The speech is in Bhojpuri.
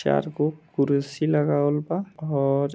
चार गो कुरसी लगावलबा और--